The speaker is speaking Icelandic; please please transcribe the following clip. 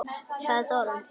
Sagði Þórunn!